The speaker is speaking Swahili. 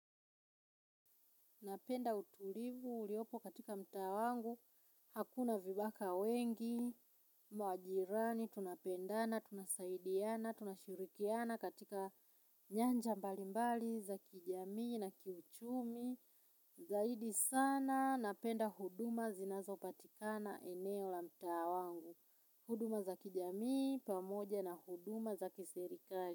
Napenda utulivu uliopo katika mtaa wangu, hakuna vibaka wengi, majirani, tunapendana, tunasaidiana, tunashirikiana katika nyanja mbali mbali, za kijamii na kiuchumi. Zaidi sana, napenda huduma zinazopatikana eneo la mtaa wangu. Huduma za kijamii, pamoja na huduma za kiserikali.